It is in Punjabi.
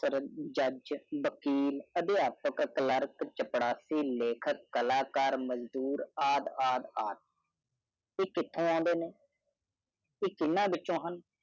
ਜੈਜ਼ ਮਜ਼ਦੂਰ ਚਪੜਸਾਈ ਲੇਖਕ ਮਜ਼ਦੂਰ ਐਈ ਕਥੀ ਅੰਡੇ ਨਾ ਅੱਖ ਚੀਨਜੋ ਉਹ